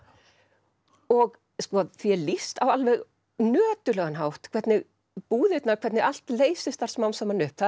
og því er lýst á alveg nöturlegan hátt hvernig búðirnar hvernig allt leysist þar smám saman upp það